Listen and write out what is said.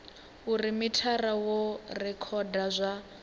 uri mithara wo rekhoda zwa